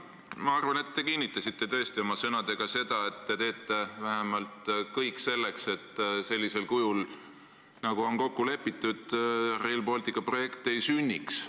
Ma arvan, et te kinnitasite tõesti oma sõnadega seda, et te teete vähemalt kõik selleks, et sellisel kujul, nagu on kokku lepitud, Rail Balticu projekt ei sünniks.